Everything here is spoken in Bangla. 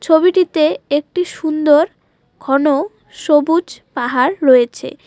ছবিটিতে একটি সুন্দর ঘন সবুজ পাহাড় রয়েছে।